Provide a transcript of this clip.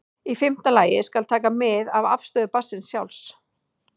Í fimmta lagi skal taka mið af afstöðu barnsins sjálfs.